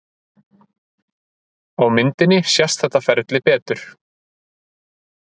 Á myndinni sést þetta ferli betur.